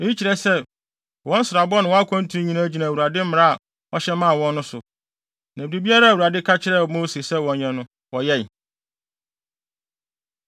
Eyi kyerɛ sɛ, wɔn nsrabɔ ne wɔn akwantu nyinaa gyina Awurade mmara a ɔhyɛ ma wɔn no so; na biribiara a Awurade ka kyerɛɛ Mose sɛ wɔnyɛ no, wɔyɛe.